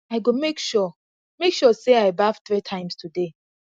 i go make sure make sure sey i baff three time today